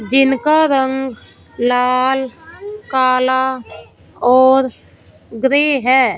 जिनका रंग लाल काला और ग्रे है।